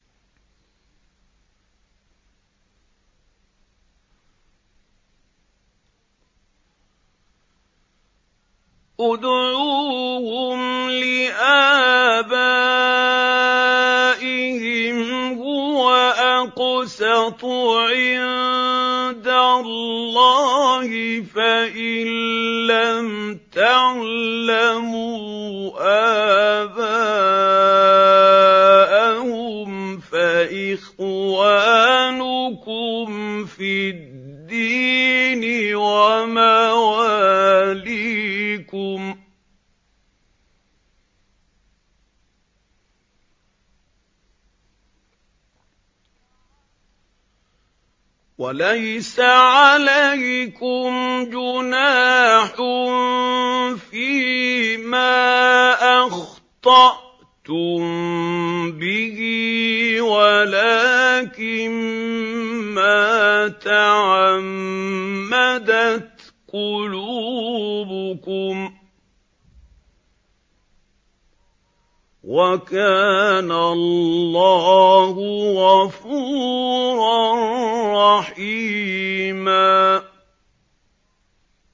ادْعُوهُمْ لِآبَائِهِمْ هُوَ أَقْسَطُ عِندَ اللَّهِ ۚ فَإِن لَّمْ تَعْلَمُوا آبَاءَهُمْ فَإِخْوَانُكُمْ فِي الدِّينِ وَمَوَالِيكُمْ ۚ وَلَيْسَ عَلَيْكُمْ جُنَاحٌ فِيمَا أَخْطَأْتُم بِهِ وَلَٰكِن مَّا تَعَمَّدَتْ قُلُوبُكُمْ ۚ وَكَانَ اللَّهُ غَفُورًا رَّحِيمًا